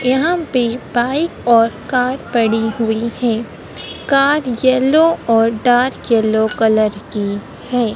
यहां पे बाइक और कार पड़ी हुई है कार येलो और डार्क येलो कलर की है।